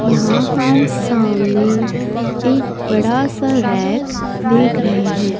यहां हम सामने एक बड़ा सा रैक का देख रहे हैं।